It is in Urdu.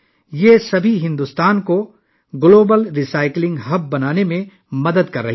یہ سب بھارت کو عالمی ری سائیکلنگ کا مرکز بنانے میں مدد کر رہے ہیں